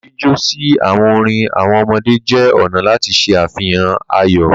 Jíjọ si awọn orin awọn ọmọdé jẹ ọna lati ṣe afihan ayọ.